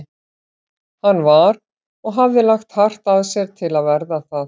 Hann var- og hafði lagt hart að sér til að verða það